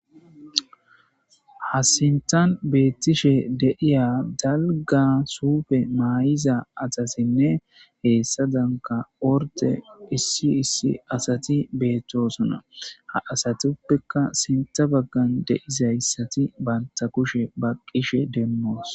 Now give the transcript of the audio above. Ha sintan beettishe deiya dalga suufe maay7iza asasinne heessa danka orte issi issi asati beettosuna ha asatuppekka sinta baggan deizayssati banta kushe baqqishe demmoos